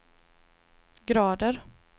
grader